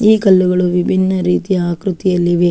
ಈ ಕಲ್ಲುಗಳು ವಿಬಿನ್ನ ರೀತಿಯ ಆಕ್ರತಿಯಲ್ಲಿವೆ.